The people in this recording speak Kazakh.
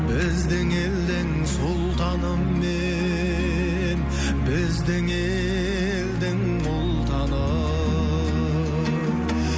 біздің елдің сұлтаны мен біздің елдің ұлтаны